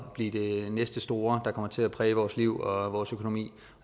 at blive det næste store der kommer til at præge vores liv og vores økonomi